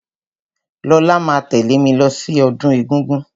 Lọlá máa tẹ̀lẹ́ mí lọ sí ọdún egúngún.